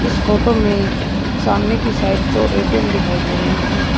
इस फोटो में सामने की साइड दो ए_टी_एम दिखाई दे रहे हैं।